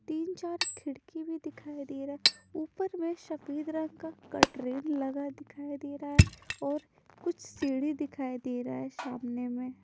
तीन-चार खिड़की भी दिखाई दे रहा है ऊपर में शफेद रंग का कट्रेन लगा दिखाई दे रहा है और कुछ सीढ़ी दिखाई दे रहा है शामने में।